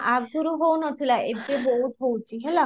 ଆଗରୁ ହଉ ନ ଥିଲା ଏବେ ବହୁତ ହଉଛି ହେଲା